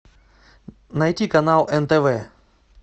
найти канал нтв